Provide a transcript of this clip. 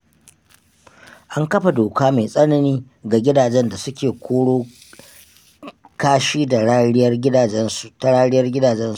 An kafa doka mai tsanani ga gidajen da suke koro kashi ta rariyar gidajensu.